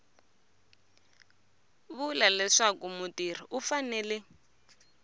vula leswaku mutirhi u fanele